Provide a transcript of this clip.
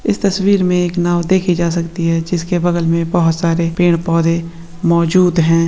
इस तस्वीर मे एक नाव देखी जा सकते है जिसके बगल मे बहुत सारे पेड़ पौधे मौजूद है।